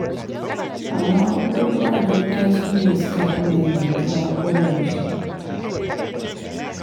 Amma kuɗin ruwa da wuta su ne suka fi maimaituwa koyaushe.